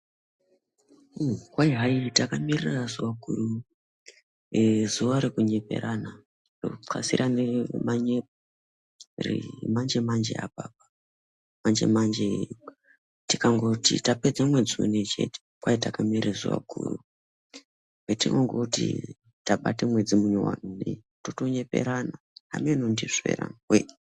Kwai hai takamirira zuva guru-eh zuva rekunyeperana, rekutxasirane manyepo remanje manje apa. Manje manje tikangoti tapedza mwedzi unoyu chete, kwai takamirira zuva guru petinongoti tabate mwedzi munyuwani kudai, totonyeperana. Hamenoo kuti ndizvo here anhuwee.